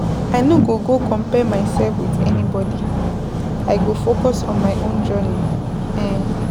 I no go compare mysef wit anybody, I go focus on my own journey. um